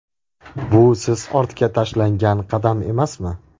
Bu siz ortga tashlangan qadam emasmi?